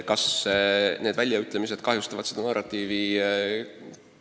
Kas need väljaütlemised kahjustavad seda narratiivi?